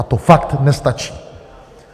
A to fakt nestačí.